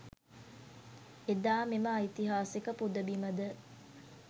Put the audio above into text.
එදා මෙම ඓතිහාසික පුදබිම ද